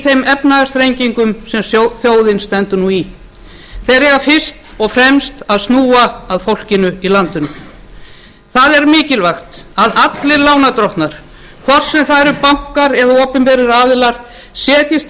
efnahagsþrengingum sem þjóðin stendur nú í þeir eiga fyrst og fremst að snúa að fólkinu í landinu það er mikilvægt að allir lánardrottnar hvort sem það eru bankar eða opinberir aðilar setjist